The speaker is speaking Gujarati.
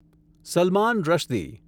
સલમાન રશ્દી